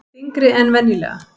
Þyngri en venjulega.